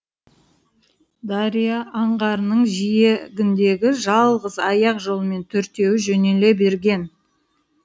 дария аңғарының жиегіндегі жалғыз аяқ жолмен төртеуі жөнеле берген